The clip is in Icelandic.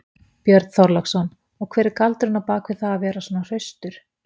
Björn Þorláksson: Og hver er galdurinn á bak við það að vera svona hraustur?